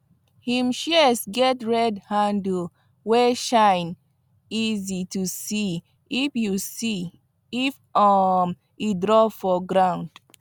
him shears get red handle wey shine easy to see if see if um e drop for ground